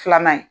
Filanan ye